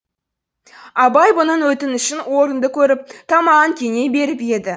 абай бұның өтінішін орынды көріп тамағын кеней беріп еді